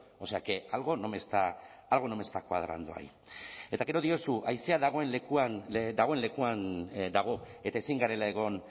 o sea que algo no me está algo no me está cuadrando ahí eta gero diozu haizea dagoen lekuan dagoen lekuan dago eta ezin garela egon